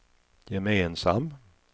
gemensam